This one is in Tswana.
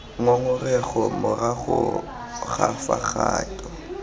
ngongorego morago ga fa kgato